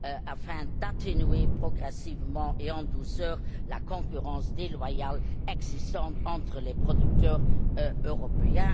afin d'atténuer progressivement et en douceur la concurrence déloyale existant entre les producteurs européens.